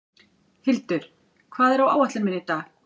Hildur, hvað er á áætluninni minni í dag?